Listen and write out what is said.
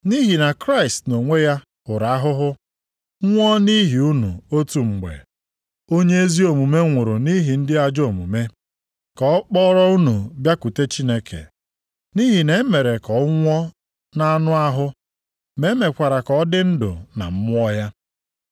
Nʼihi na Kraịst nʼonwe ya hụrụ ahụhụ nwụọ nʼihi unu otu mgbe. Onye ezi omume nwụrụ nʼihi ndị ajọ omume, ka ọ kpọrọ unu bịakwute Chineke. Nʼihi na e mere ka ọ nwụọ nʼanụ ahụ ma e mekwara ka ọ dị ndụ na mmụọ ya.